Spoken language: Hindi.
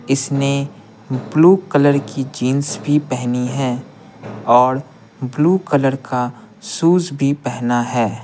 इसने ब्लू कलर की जींस भी पेहनी है और ब्लू कलर का शूज भी पेहना है।